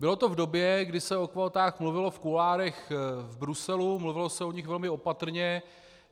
Bylo to v době, kdy se o kvótách mluvilo v kuloárech v Bruselu, mluvilo se o nich velmi opatrně.